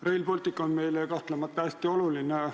Rail Baltic on meile kahtlemata hästi oluline.